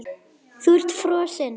Þú ert frosin.